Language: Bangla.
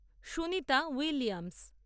সুনিতা উইলিয়ামস